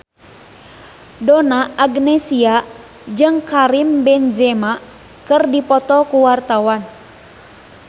Donna Agnesia jeung Karim Benzema keur dipoto ku wartawan